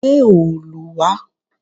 Gbé òòlù wà!